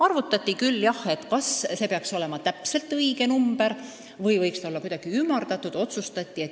Arutati küll ka, kas see peaks olema väga täpne number või võiks see olla kuidagi ümardatud.